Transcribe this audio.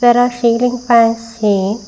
there are ceiling fans see--